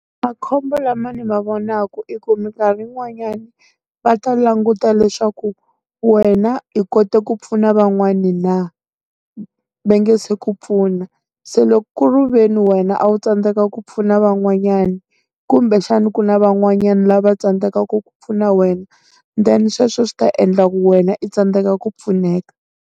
Makhombo lama ndzi ma vona ku i ku minkarhi yin'wanyani, va ta languta leswaku wena i kote ku pfuna van'wani na, va nge se ku pfuna. Se loko kuriveni wena a wu tsandzeka ku pfuna van'wanyani, kumbexana ku na van'wanyana lava tsandzekaka ku pfuna wena, then sweswo swi ta endla ku wena i tsandzeka ku pfuneka.